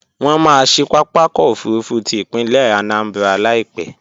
Wọ́n maá ṣí pápákọ̀ òfurufú ti ìpínlẹ̀ Anambra Láìpẹ́